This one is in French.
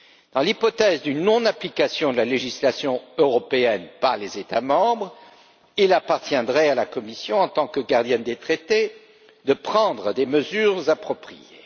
Dans l'hypothèse d'une non application de la législation européenne par les États membres, il appartiendrait à la Commission, en tant que gardienne des traités, de prendre des mesures appropriées.